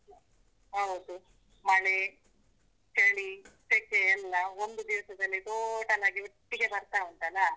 ಹೌದು ಮಳೆ, ಚಳಿ, ಸೆಖೆ ಎಲ್ಲ ಒಂದು ದಿವಸದಲ್ಲಿ total ಆಗಿ ಒಟ್ಟಿಗೆ ಬರ್ತಾಉಂಟಲ್ಲ.